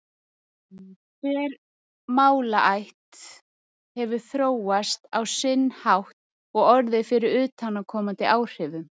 Hver málaætt hefur þróast á sinn hátt og orðið fyrir utanaðkomandi áhrifum.